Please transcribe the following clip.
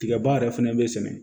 Tigaba yɛrɛ fɛnɛ bɛ sɛnɛ